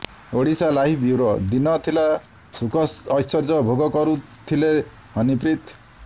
Odisha live bureau ଦିନ ଥିଲା ସୁଖଐଶ୍ୱର୍ଯ୍ୟ ଭୋଗ କରୁଥିଲେ ହନିପ୍ରୀତ